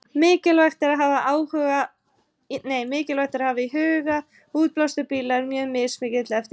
Mikilvægt er að hafa í huga að árlegur útblástur bíla er mjög mismikill eftir tegundum.